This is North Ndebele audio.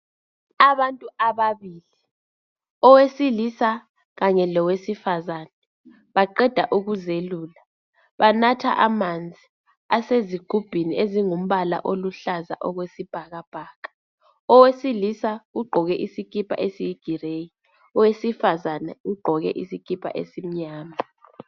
Abantu ababili, owesilisa kanye lowesifazane baqeda ukuzelula, banatha amanzi asezigubhini ezingumbala oluhlaza okwesibhabhaka. Owesilisa ugqoke isikipa esiyi"gray",owesifazane ugqoke isikipa esimnyama.